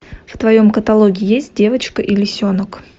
в твоем каталоге есть девочка и лисенок